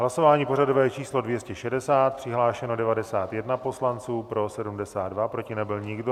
Hlasování pořadové číslo 260, přihlášeno 91 poslanců, pro 72, proti nebyl nikdo.